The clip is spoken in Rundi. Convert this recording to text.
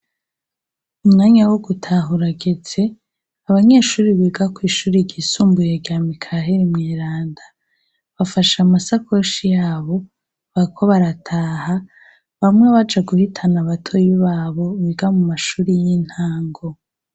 Umwanya wo gutaha urageze. Abanyeshuri biga kw'ishuri ryisumbuye rya Mikaheri Mweranda, bafashe amasakoshi y'abo, bariko barataha. Bamwe baja guhitana batoyi b'abo biga mu mashuri y'intango.